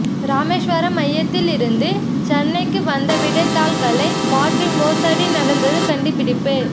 ராமேஸ்வரம் மையத்தில் இருந்து சென்னைக்கு வந்த விடைத்தாள்களை மாற்றி மோசடி நடந்தது கண்டுபிடிப்பு